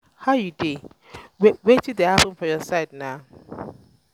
guy how you um dey? um wetin dey um happen for your side na